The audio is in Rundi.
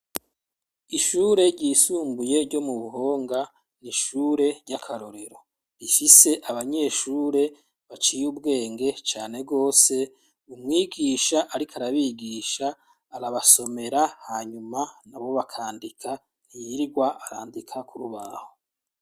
Ishure ryisumbuye, ryo mu Buhonga, ni ishure ry'akarorero; ifise abanyeshure baciye ubwenge cane rwose, umwigisha ariko arabigisha, arabasomera, hanyuma nabo bakandika, ntiyirirwa arandika ku rubaho.